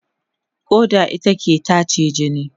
ƙoda ita ke tace jini.